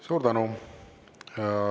Suur tänu!